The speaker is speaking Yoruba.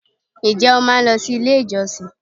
Ǹ jé o máa n lo si ilé ìjọsìn